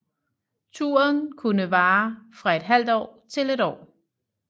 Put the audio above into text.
Turen kunne vare fra et halvt år til et år